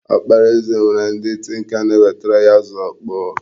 Ọkpara eze nwere ndị tinka na-ewetara ya azụ ọkpọọ.